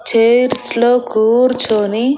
chairs లో కూర్చొని--